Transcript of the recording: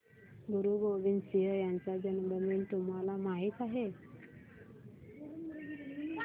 गुरु गोविंद सिंह यांचा जन्मदिन तुम्हाला माहित आहे